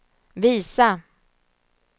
visa